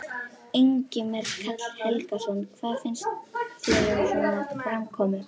Ingimar Karl Helgason: Hvað finnst þér um svona framkomu?